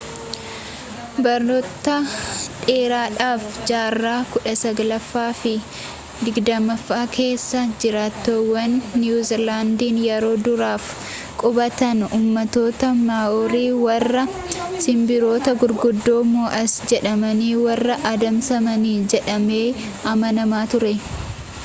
baroota dheeraadhaaf jaarraa kudha saglaffaa fi digdammaffaa keessa jiraattonni niiwu ziilaandiin yeroo duraaf qubatan ummattoota maa'oorii warra sinbirroota gurguddoo moo'as jedhaman warra adamsanidhajedhamee amanama ture